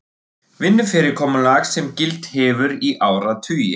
Vinnufyrirkomulag sem gilt hefur í áratugi